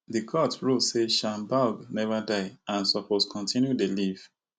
di court rule say shanbaug never die and suppose continue to dey live